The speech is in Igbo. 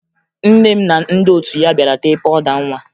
Nne m na ndị otu ya bịara tee pawụda nwa